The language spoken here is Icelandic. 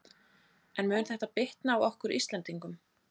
En mun þetta bitna á okkur Íslendingum?